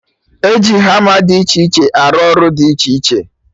E ji hama dị iche iche arụ ọrụ dị iche iche